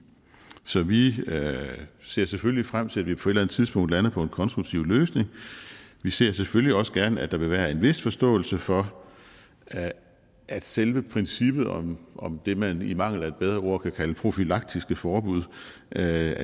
så vi ser selvfølgelig frem til at vi på et eller andet tidspunkt lander på en konstruktiv løsning vi ser selvfølgelig også gerne at der vil være en vis forståelse for at selve princippet om det man i mangel af bedre ord kan kalde profylaktiske forbud er